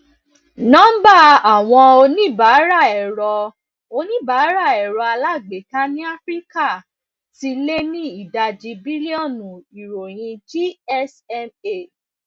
nọmba àwọn oníbàárà ẹrọ oníbàárà ẹrọ alágbèéká ní áfíríkà ti lé ní ìdajì bílíọnù ìròyìn gsma